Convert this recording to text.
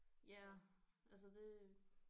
Ja altså det